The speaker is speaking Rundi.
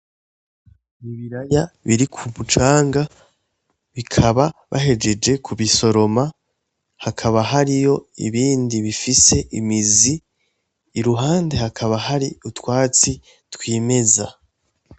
Ibiraya birik' umucanga, bikaba bahejeje kubisoroma, hakaba hariyo ibindi bifise imizi, iruhande hakaba hari utwatsi twimeza.